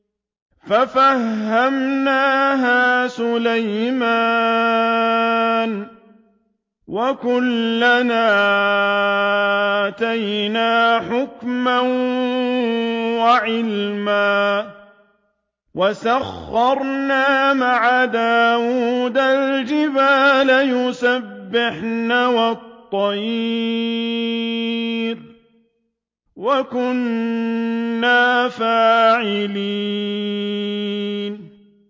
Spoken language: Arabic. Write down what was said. فَفَهَّمْنَاهَا سُلَيْمَانَ ۚ وَكُلًّا آتَيْنَا حُكْمًا وَعِلْمًا ۚ وَسَخَّرْنَا مَعَ دَاوُودَ الْجِبَالَ يُسَبِّحْنَ وَالطَّيْرَ ۚ وَكُنَّا فَاعِلِينَ